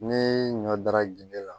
Ne ɲɔ dara ge la